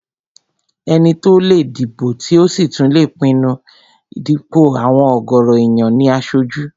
Ẹni tó lè dìbò tí ò sì tún lè pinnu dípò àwọn ọ̀gọ̀rọ̀ èèyàn ní aṣojú